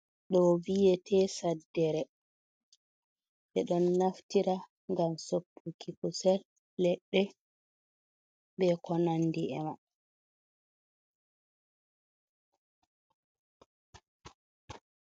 Ɗo viyete saddere. Ɓe ɗon naftira ngam soppuki kusel, leɗɗe, be ko nandi e mi.